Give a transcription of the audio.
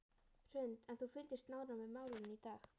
Hrund: En þú fylgdist nánar með málinu í dag?